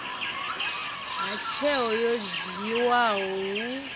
ha tsheo yo dzhiwaho hu